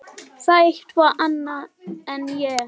Það er eitthvað annað en ég